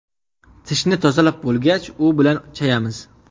Tishni tozalab bo‘lgach, u bilan chayamiz.